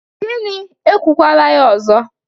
Gini! Ekwukwala ya ọzọ.